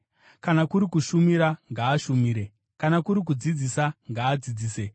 Kana kuri kushumira ngaashumire; kana kuri kudzidzisa, ngaadzidzise;